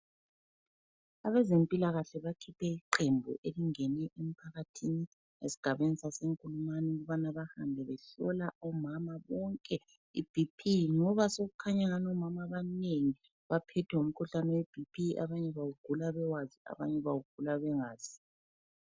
Abezempilakahle bakhiphe iqembu elingene emphakathini ezigabeni saseNkulumane ukubana bahambe behlola omama bonke iBP, ngoba sekukhanya angani omama abanengi baphethwe ngumkhuhlane weBP. Abanye bawugula bewazi, abanye bawugula bengazi.